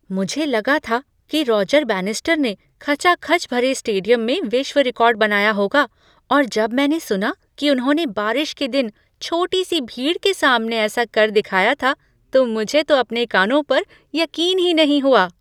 मुझे लगा था कि रॉजर बैनिस्टर खचाखच भरे स्टेडियम में विश्व रिकॉर्ड बनाया होगा और जब मैंने सुना कि उन्होंने बारिश के दिन छोटी सी भीड़ के सामने ऐसा कर दिखाया था, तो मुझे तो अपने कानों पर यकीन ही नहीं हुआ।